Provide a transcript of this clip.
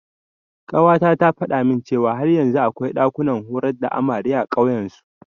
Ƙawata ta faɗa min cewa har yanzu akwai ɗakunan horar da amare a ƙauyen su.